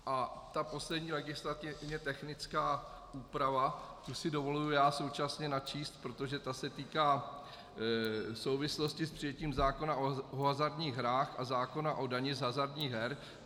A ta poslední legislativně technická úprava, tu si dovoluji já současně načíst, protože ta se týká souvislosti s přijetím zákona o hazardních hrách a zákona o dani z hazardních her.